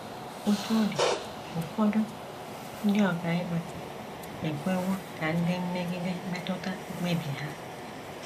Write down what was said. Otú ọ dị, ụfọdụ ndị ọkàikpe ekwewo ka ndị mmegide metụta mkpebi ha.